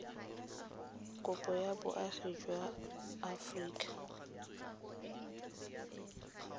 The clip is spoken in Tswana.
kopo ya boagi jwa aforika